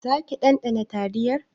Zaki ɗanɗana taliyar?